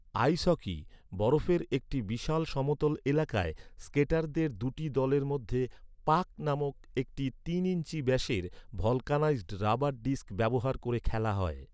আইস hockey, বরফের একটি বিশাল সমতল এলাকায়, স্কেটারদের দুটি দলের মধ্যে ‘পাক’ নামক একটি তিন ইঞ্চি ব্যাসের ভলকানাইজড রাবার ডিস্ক ব্যবহার করে খেলা হয়।